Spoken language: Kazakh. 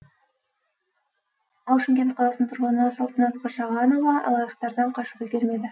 ал шымкент қаласының тұрғыны салтанат қашағанова алаяқтардан қашып үлгермеді